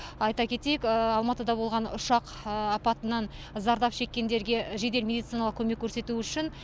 айта кетейік алматыда болған ұшақ апатынан зардап шеккендерге жедел медициналық көмек көрсету үшін